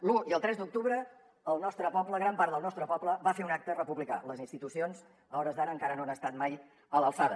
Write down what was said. l’un i el tres d’octubre el nostre poble gran part del nostre poble va fer un acte republicà les institucions a hores d’ara encara no han estat mai a l’alçada